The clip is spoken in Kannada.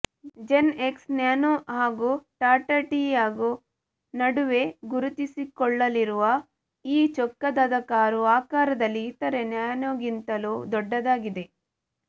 ಜೆನ್ ಎಕ್ಸ್ ನ್ಯಾನೋ ಹಾಗೂ ಟಾಟಾ ಟಿಯಾಗೊ ನಡುವೆ ಗುರುತಿಸಿಕೊಳ್ಳಲಿರುವ ಈ ಚೊಕ್ಕದಾದ ಕಾರು ಆಕಾರದಲ್ಲಿ ಇತರೆ ನ್ಯಾನೋಗಿಂತಲೂ ದೊಡ್ಡದಾಗಿದೆ